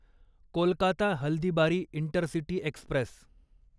Kolkata Haldibari intercity Express